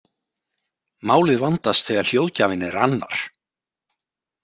Málið vandast þegar hljóðgjafinn er annar.